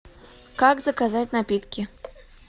как заказать напитки